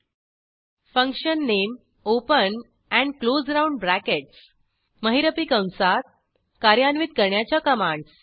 function underscore नामे open and close round brackets महिरपी कंसात कार्यान्वित करण्याच्या कमांडस